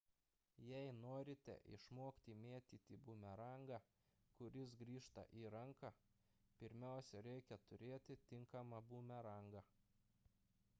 jei norite išmokti mėtyti bumerangą kuris grįžta į ranką pirmiausia reikia turėti tinkamą bumerangą